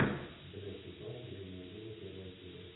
блеск и слава древнего рима первая серия